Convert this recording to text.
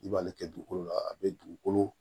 I b'ale kɛ dugukolo la a bɛ dugukolo